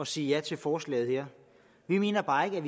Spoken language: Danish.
sige ja til forslaget her vi mener bare ikke at